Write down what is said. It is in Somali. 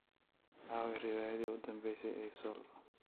Aaway riwaayadii u dambeysay ee:sol?